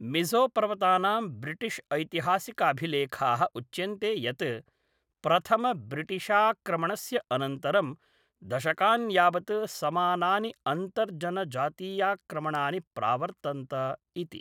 मिज़ोपर्वतानां British ऐतिहासिकाभिलेखाः उच्यन्ते यत् प्रथमब्रिटिशाक्रमणस्य अनन्तरं दशकान् यावत् समानानि अन्तर्जनजातीयाक्रमणानि प्रावर्तन्त इति।